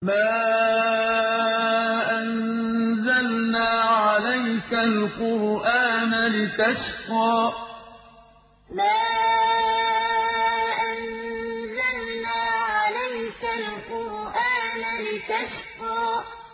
مَا أَنزَلْنَا عَلَيْكَ الْقُرْآنَ لِتَشْقَىٰ مَا أَنزَلْنَا عَلَيْكَ الْقُرْآنَ لِتَشْقَىٰ